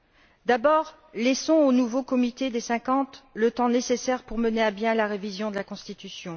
Laissons d'abord au nouveau Comité des 50 le temps nécessaire pour mener à bien la révision de la Constitution.